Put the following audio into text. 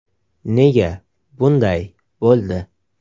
Nega bunday bo‘ldi?